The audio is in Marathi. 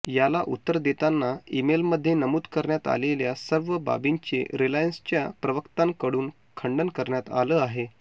याला उत्तर देताना ईमेलमध्ये नमूद करण्यात आलेल्या सर्व बाबींचे रिलायन्सच्या प्रवक्त्यांकडून खंडन करण्यात आलं आहे